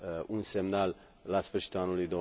un semnal la sfârșitul anului